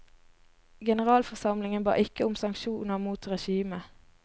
Generalforsamlingen ba ikke om sanksjoner mot regimet.